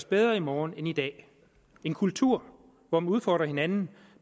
bedre i morgen end i dag en kultur hvor man udfordrer hinanden